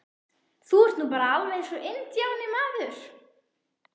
Þú ert nú bara alveg eins og INDJÁNI, maður!